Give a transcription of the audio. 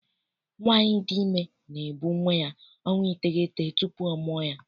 Nwaanyi dị ime na-ebu nwa ya ọnwa iteghete tupu ọ mụọ ya.